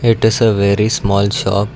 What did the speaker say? it is a very small shop.